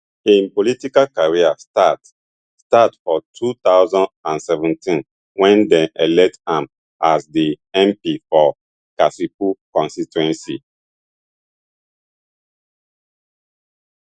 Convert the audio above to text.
im political career start start for two thousand and seventeen wen dem elect am as di mp for kasipul constituency